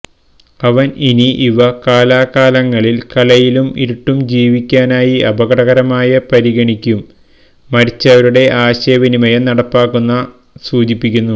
അവൻ ഇനി ഇവ കാലാകാലങ്ങളിൽ കലയിലും ഇരുട്ടും ജീവിക്കാനായി അപകടകരമായ പരിഗണിക്കും മരിച്ചവരുടെ ആശയവിനിമയം നടപ്പാക്കുന്ന സൂചിപ്പിക്കുന്നു